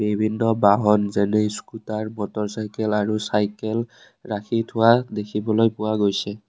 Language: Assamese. বিভিন্ন বাহন যেনে স্কুটাৰ মটৰ চাইকেল আৰু চাইকেল ৰাখি থোৱা দেখিবলৈ পোৱা গৈছে।